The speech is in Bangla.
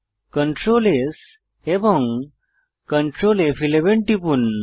Ctrl S এবং Ctrl ফ11 টিপুন